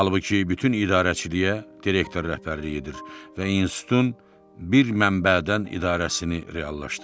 Halbuki bütün idarəçiliyə direktor rəhbərlik edir və institutun bir mənbədən idarəsini reallaşdırır.